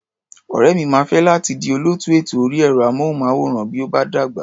Ọ̀rẹ́ mi máa fẹ́ láti di olóòtú ètò orí ẹ̀rọ-amóhùnmáwòrán bí ó bá dàgbà.